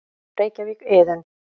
Reykjavík: Iðunn.